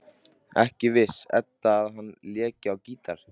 Ekki vissi Edda að hann léki á gítar.